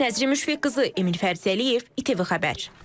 Nəzrin Müşfiq qızı, Emin Fərzəliyev, ATV xəbər.